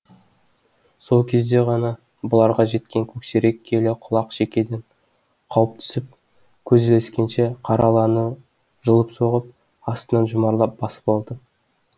сол кезде ғана бұларға жеткен көксерек келе құлақ шекеден қауып түсіп көз ілескенше қара аланы жұлып соғып астына жұмарлап басып алды